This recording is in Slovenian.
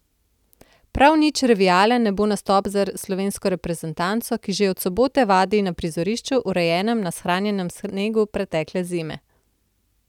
Prav nič revijalen ne bo nastop za slovensko reprezentanco, ki že od sobote vadi na prizorišču, urejenem na shranjenem snegu pretekle zime.